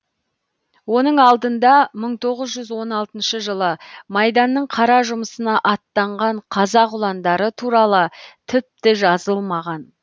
оның алдында мың тоғыз жүз он алтыншы жылы майданның қара жұмысына аттанған қазақ ұландары туралы тіпті жазылмаған